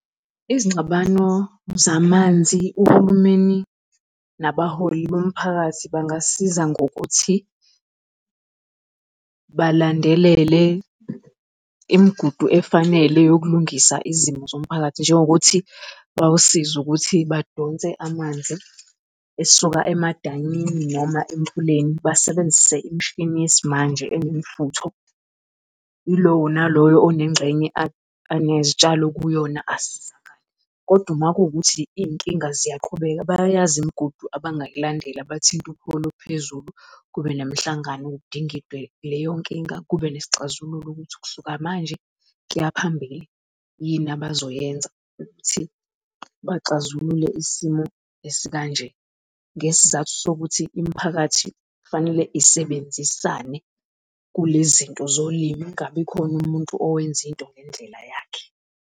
Izingxabano zamanzi uhulumeni nabaholi bomphakathi bangasiza ngokuthi, balandelele imigudu efanele yokulungisa izimo zomphakathi njengokuthi bawusize ukuthi badonse amanzi esuka emadanyini noma emfuleni basebenzise imishini yesimanje enemfutho. Yilowo naloyo onengxenye anezitshalo kuyona asizakale. Kodwa uma kuwukuthi iy'nkinga ziyaqhubeka bayayazi imigudu abangayilandeli bathinta upholo phezulu, kube nemhlangano kudingidwe leyo nkinga, kube nesixazululo ukuthi ukusuka manje kuyaphambili yini abazoyenza ukuthi baxazulule isimo esikanje ngesizathu sokuthi imiphakathi kufanele isebenzisane kulezinto zolimo kungabi khona umuntu owenza into ngendlela yakhe.